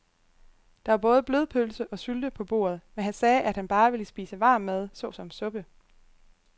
Der var både blodpølse og sylte på bordet, men han sagde, at han bare ville spise varm mad såsom suppe.